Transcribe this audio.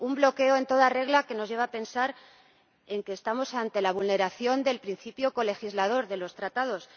Ha sido un bloqueo en toda regla que nos lleva a pensar que estamos ante la vulneración del principio colegislador contemplado en los Tratados.